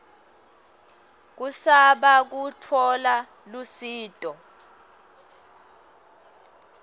kusaba kutfola lusito